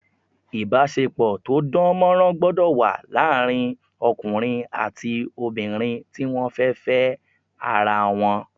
Ìbáṣepọ̀ tó dánmọ́nrán gbọ́dọ̀ wà láàrin ọkùnrin àti obìnrin tí wọ́n fẹ́ Fẹ́ ara wọn